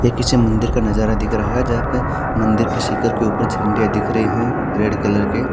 यह किसी मंदिर का नज़ारा दिखा रहा है जहा पे मंदिर की शिकर के ऊपर झंडिया दिख रही है रेड कलर की --